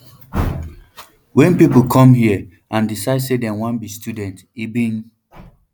wen pipo come here and decide say dem wan be students e bin